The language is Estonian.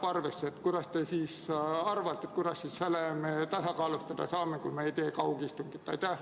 Mis te arvate, kuidas me selle olukorra tasakaalustada saame, kui me ei tee kaugistungit?